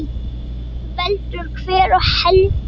En veldur hver á heldur.